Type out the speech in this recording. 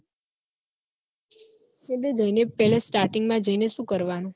એટલે જઈને starting પેલા આપડે શું કરવાનું